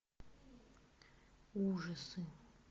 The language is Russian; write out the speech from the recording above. ужасы